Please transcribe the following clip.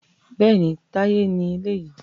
Bẹ́ẹ̀ni, Táyé ni eléyìí